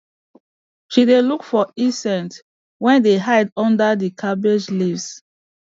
she dey look for insects wey dey hide under the cabbage leaves